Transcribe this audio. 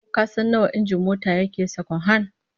Ko kasan nawa injin mota ta yake, sakwan-han?